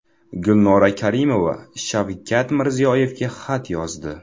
Gulnora Karimova Shavkat Mirziyoyevga xat yozdi.